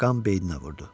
Qan beyninə vurdu.